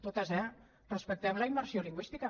totes eh respectem la immersió lingüística